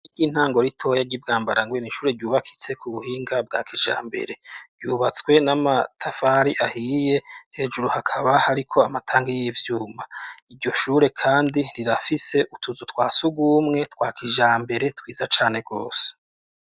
Iryo intangoritoya ry'ibwambara ngoene ishure ryubakitse ku buhinga bwa kijambere ryubatswe n'amatafari ahiye hejuru hakaba hariko amatanga y'ivyuma iryo shure, kandi ntirafise utuzu twa si ugumwe twa kijambere twiza cane rwose.